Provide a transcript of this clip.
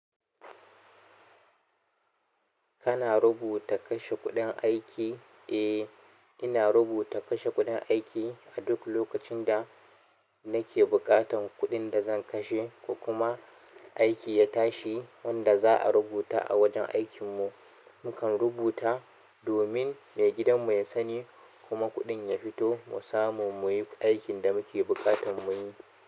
Kana rubuta kashe kuɗin aiki? Eh, ina rubuta kashe kuɗin aiki a duk lokacin da nake buƙatar kuɗin zan kashe ko kuma aiki ya tashi wanda za'a rubuta a wajen aikin mu mukan rubuta domin maigidan mu ya sani kuma kuɗin ya fito mu samu muyi aikin da muke buƙatan muyi.